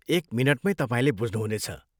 एक मिनटमैँ तपाईँले बुझ्नुहुनेछ।